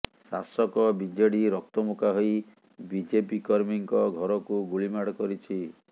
ଶାସକ ବିଜେଡି ରକ୍ତମୁଖା ହୋଇ ବିଜେପି କର୍ମୀଙ୍କ ଘରକୁ ଗୁଳିମାଡ଼ କରିଛି